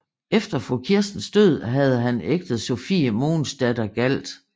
Efter fru Kirstens død havde han ægtet Sophie Mogensdatter Galt